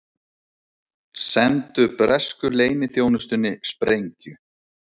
Sendu bresku leyniþjónustunni sprengju